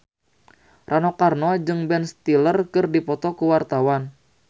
Rano Karno jeung Ben Stiller keur dipoto ku wartawan